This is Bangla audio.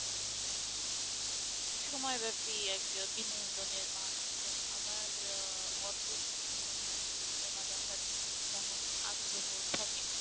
সময়ব্যাপী এক বিনোদনের মাধ্যম আমার আহ অত সুযোগ হয় নি আসলে cinema দেখার তেমন আগ্রহও থাকে না।